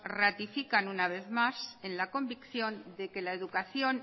ratifica una vez más en la convicción de la que la educación